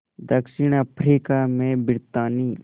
दक्षिण अफ्रीका में ब्रितानी